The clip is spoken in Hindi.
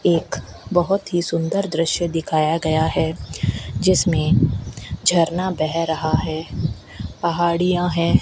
एक बहुत ही सुंदर दृश्य दिखाया गया है जिसमें झरना बह रहा है पहाड़ियां हैं।